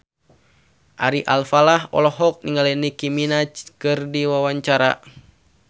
Ari Alfalah olohok ningali Nicky Minaj keur diwawancara